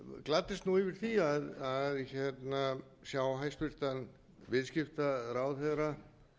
gladdist nú yfir því að sjá hæstvirtur viðskiptaráðherra